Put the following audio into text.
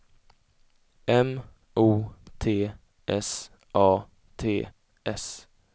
M O T S A T S